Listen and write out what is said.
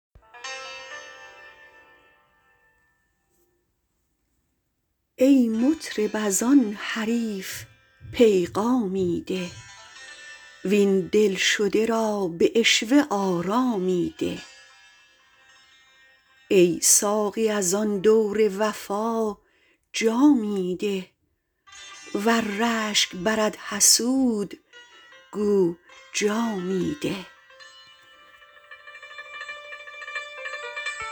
ای مطرب ازان حریف پیغامی ده وین دل شده را به عشوه آرامی ده ای ساقی از آن دور وفا جامی ده ور رشک برد حسود گو جامی ده